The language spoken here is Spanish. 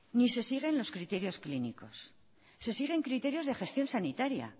ni se siguen los criterios clínicos se siguen criterios de gestión sanitaria